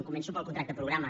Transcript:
començo pel contracte programa